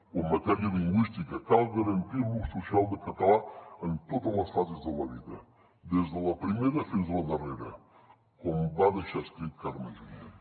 o en matèria lingüística cal garantir l’ús social del català en totes les fases de la vida des de la primera fins a la darrera com va deixar escrit carme junyent